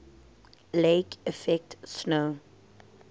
lake effect snow